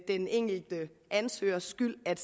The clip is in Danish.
den enkelte ansøgers skyld at